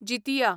Jitiya